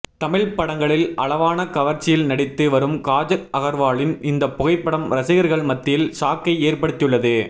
தமிழ் படங்களில் அளவான கவர்ச்சியில் நடித்து வரும் காஜல் அகர்வாலின் இந்த புகைப்படம் ரசிகர்கள் மத்தியில் ஷாக்கை ஏற்படுத்தியுள்ளது